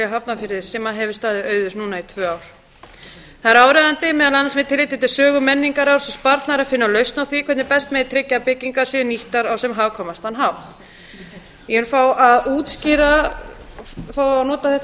hafnarfirði sem hefur staðið auður núna í tvö ár það er áríðandi meðal annars með tilliti til sögu menningararfs og sparnaðar að finna lausn á því hvernig best megi tryggja að byggingar séu nýttar á sem hagkvæmastan hátt ég vil fá að útskýra fá að nota þetta